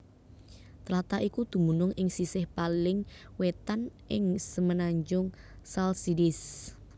Tlatah iku dumunung ing sisih paling wétan ing semenanjung Chalcidice